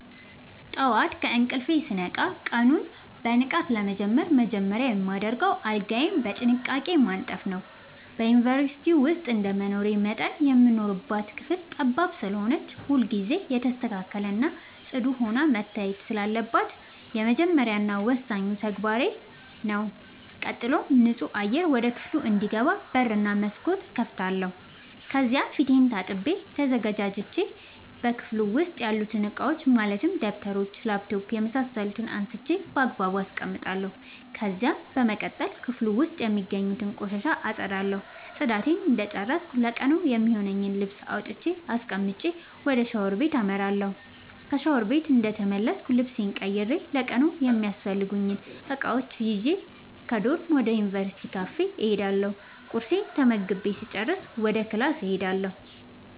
ጠዋት ከእንቅልፌ ስነቃ ቀኑን በንቃት ለመጀመር መጀመሪያ የማደርገው አልጋዬን በጥንቃቄ ማንጠፍ ነዉ። በዩንቨርስቲ ዉስጥ እንደመኖሬ መጠን የምንኖርባት ክፍል ጠባብ ስለሆነች ሁልጊዜ የተስተካከለ እና ፅዱ ሆና መታየት ስላለባት የመጀመሪያ እና ወሳኙ ተግባሬ ተግባሬ ነዉ። ቀጥሎም ንፁህ አየር ወደ ክፍሉ እንዲገባ በር እና መስኮት እከፍታለሁ ከዚያም ፊቴን ታጥቤ ተዘጋጅቼ በክፍሉ ዉስጥ ያሉትን እቃዎች ማለትም ደብተሮች: ላፕቶፕ የምሳሰሉትን አንስቼ ባግባቡ አስቀምጣለሁ። ከዚያም በመቀጠል ክፍሉ ዉስጥ የሚገኙትን ቆሻሻ አፀዳለሁ ፅዳቴን እንደጨረስኩ ለቀኑ የሚሆነኝን ልብስ አውጥቼ አስቀምጬ ወደ ሻወር ቤት አመራለሁ። ከሻወር ቤት እንደተመለስኩ ልብሴን ቀይሬ ለቀኑ የሚያስፈልጉኝን እቃዎች ይዤ ከዶርም ወደ ዩንቨርስቲው ካፌ እሄዳለሁ ቁርሴን ተመግቤ ስጨርስ ወደ ክላስ እሄዳለሁ።